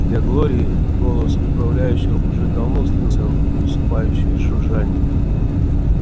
для глории голос управляющего уже давно слился в усыпающее жужжание